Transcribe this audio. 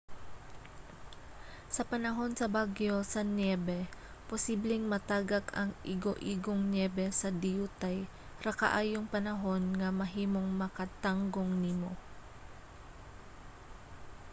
sa panahon sa bagyo sa niyebe posibleng matagak ang igoigong niyebe sa diyutay ra kaayong panahon nga mahimong makatanggong nimo